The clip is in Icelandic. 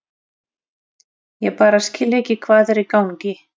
Ég bara skil ekki hvað er í gangi.